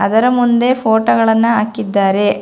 ಅದರ ಮುಂದೆ ಫೋಟೋ ಗಳನ್ನ ಹಾಕಿದ್ದಾರೆ.